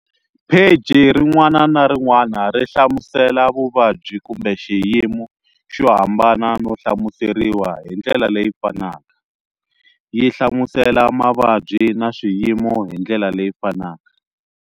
Pheji rin'wana na rin'wana ri hlamusela vuvabyi kumbe xiyimo xo hambana no hlamuseriwa hi ndlela leyi fanaka, yi hlamusela mavabyi na swiyimo hi ndlela leyi fanaka.